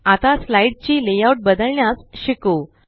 आता स्लाइड ची लेआउट बदलण्यास शिकू